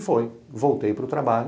E foi, voltei para o trabalho.